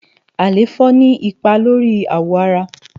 àléfọ ni ipá lóri áwọ àrá